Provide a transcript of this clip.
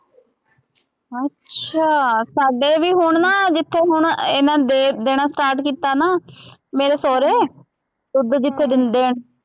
ਅੱਛਾ ਸਾਡੇ ਵੀ ਹੁਣ ਨਾ, ਜਿੱਥੇ ਹੁਣ ਇਹਨਾ ਦੇ ਦੇਣਾ start ਕੀਤਾ ਨਾ, ਮੇਰੇ ਸਹੁਰੇ, ਦੁੱਧ ਜਿੱਥੇ ਦਿੰਦੇ ਹੈ।